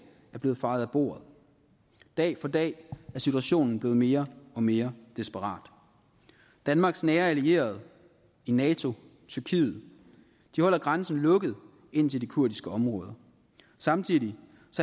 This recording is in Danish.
er blevet fejet af bordet dag for dag er situationen blevet mere og mere desperat danmarks nære allierede i nato tyrkiet holder grænsen lukket ind til de kurdiske områder samtidig